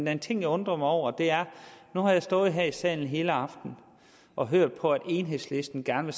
er en ting jeg undrer mig over nu har jeg stået her i salen hele aftenen og hørt på at enhedslisten gerne